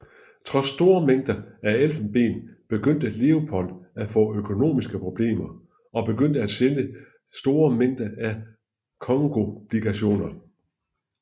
Trods store mængder af elfenben begyndte Leopold at få økonomiske problemer og begyndte at sælge store mængder af congoobligationer